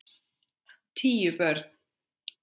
Tíu börn.